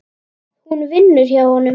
Hún vinnur hjá honum.